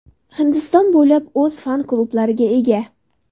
Hindiston bo‘ylab o‘z fan-klublariga ega.